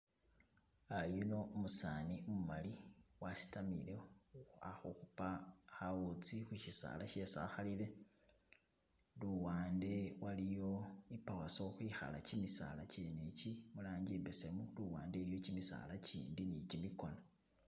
Ah yuno umusani umumali wasitamile alikhukhupa khawutsi khusisala shesi akhalile, luwande waliyo I pawaso ukhwikhala kimisala kyene iki mulangi imbesemu luwande iliyo kimisaala kindi ni kimikona.